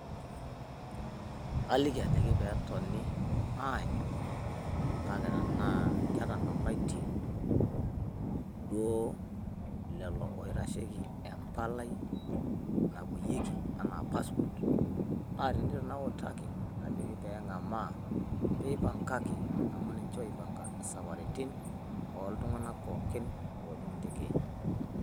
Kaliki ajoki pee etoni aanyu kake tenaa ketang`aitie duo lelo oitasheki empalai napuoyieki enaa passport. Naa teneitu najoki pee eng`amaa pee ipangaki amu ninche oipanga saparitin oo oltung`anak pookin oojing intekei.